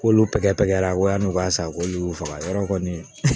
K'olu tɛgɛ pɛgɛra ko yani u k'a san k'olu y'u faga yɔrɔ kɔni